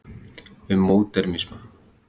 um módernisma